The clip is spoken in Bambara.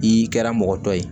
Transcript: I kɛra mɔgɔ tɔ ye